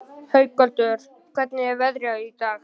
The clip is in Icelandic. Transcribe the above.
Haukvaldur, hvernig er veðrið í dag?